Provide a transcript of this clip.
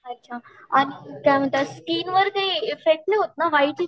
अच्छा काय म्हणतात ते स्किन वर ते इफ्फेक्ट नाही होत ना